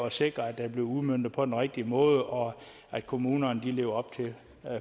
at sikre at det bliver udmøntet på den rigtige måde og at kommunerne lever op til